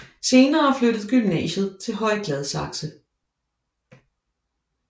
Senere flyttede gymnasiet til Høje Gladsaxe